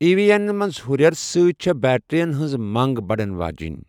E ویی ین منز ہّریرٕ سۭتۍ ، چھے٘ بیٹرِین ہنز منگ بڈن واجینۍ ۔